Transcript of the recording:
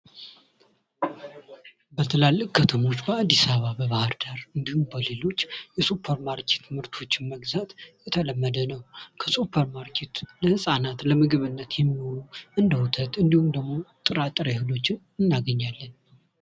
መኮረኒ ፓስታን ጨምሮ በዘመናዊ ሱፐርማርኬቶች ውስጥ እንደ ስፓጌቲ፣ ላዛኛ እና ፉሲሊ ያሉ እጅግ በጣም ብዙ የተለያዩ የፓስታ ዓይነቶች በጥራት እና በተለያየ ዋጋ ተዘጋጅተው ለገበያ ቀርበዋል።